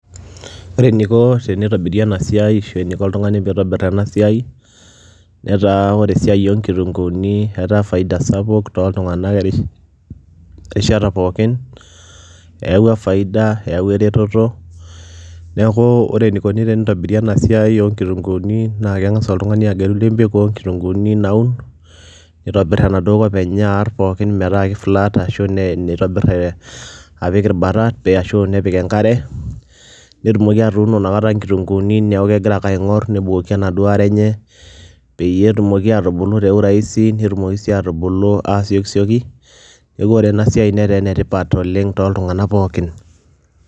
Ore eniko tenitobiri ena siai ashu eniko oltung'ani piitobir ena siai, netaa ore esia oo nkitung'uuni etaa faida sapuk tooltung'anak erish erishata pookin. Eewua faida, eewua ereteto, neeku ore eniko tenitobiri ena siai oo nkitung'uuni naake eng'asa oltung'ani agelu ndimpik oo nkitung'uuni naun, nitobir enaduo kop enye aar pookin metaa ke flat ashu nitobir ee apik irbarat ashu nepik enkare, netumoki atuuno inakata nkitung'uuni neeku kegira ae aing'or nebukoki enaduo are enye peyie etumoki aatubulu te urahisi, netumoki sii aatubulu aasiokisioki. Neeku ore ena siai netaa ene tipat oleng' tooltung'anak pookin.